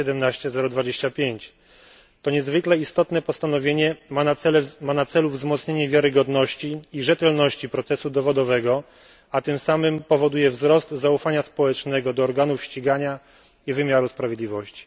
17025. To niezwykle istotne postanowienie ma na celu wzmocnienie wiarygodności i rzetelności procesu dowodowego, a tym samym powoduje wzrost zaufania społecznego do organów ścigania i wymiaru sprawiedliwości.